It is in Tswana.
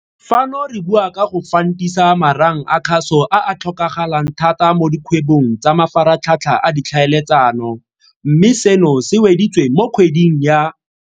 Fano re bua ka go fantisa marang a kgaso a a tlhokagalang thata mo dikgwebong tsa mafaratlhatlha a ditlhaeletsano, mme seno se weditswe mo kgweding ya.